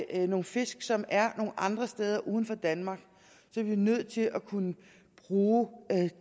er nogle fisk som er andre steder altså uden for danmark er vi nødt til at kunne bruge